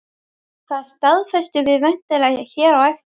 Það staðfestum við væntanlega hér á eftir?